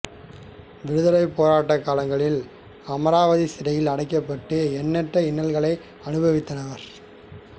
விடுதலைப் போராட்டக் காலங்களில் அமராவதி சிறையில் அடைக்கப்பட்டு எண்ணற்ற இன்னல்களை அனுபவித்தவர்